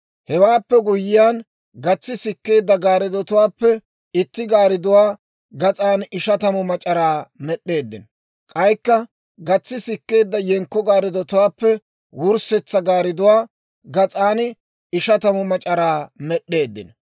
Hewaappe guyyiyaan gatsi sikkeedda gaariddotuwaappe itti gaaridduwaa gas'an ishatamu mac'araa med'd'eeddino. K'aykka gatsi sikkeedda yenkko gaariddotuwaappe wurssetsa gaaridduwaa gas'an ishatamu mac'araa med'd'eeddino.